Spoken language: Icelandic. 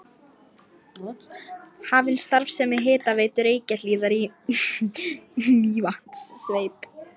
Hafin starfsemi Hitaveitu Reykjahlíðar í Mývatnssveit.